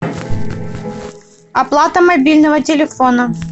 оплата мобильного телефона